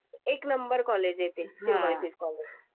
एक number college आहे ते. हां सिम्बायोसिस कॉलजे